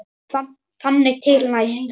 Þangað til næst.